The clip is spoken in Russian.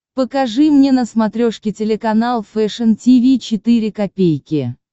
покажи мне на смотрешке телеканал фэшн ти ви четыре ка